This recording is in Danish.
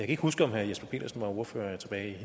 ikke huske om herre jesper petersen var ordfører tilbage i